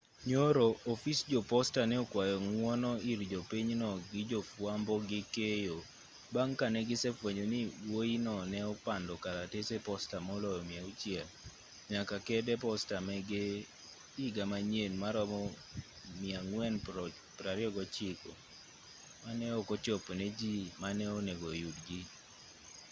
nyoro ofis jo posta ne okwayo ng'wono ir jopinyno gi jo fwambo gi keyo bang' ka negise fwenyo ni wuoyino ne opando kalatese posta moloyo 600 nyaka kede posta mege higa manyien maromo 429 ma ne ok ochopo ne jii mane onego yudgi